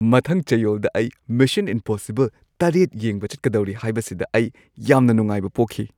ꯃꯊꯪ ꯆꯌꯣꯜꯗ ꯑꯩ ꯃꯤꯁꯟ ꯏꯝꯄꯣꯁꯤꯕꯜ ꯷ ꯌꯦꯡꯕ ꯆꯠꯀꯗꯧꯔꯤ ꯍꯥꯏꯕꯁꯤꯗ ꯑꯩ ꯌꯥꯝꯅ ꯅꯨꯡꯉꯥꯏꯕ ꯄꯣꯛꯈꯤ ꯫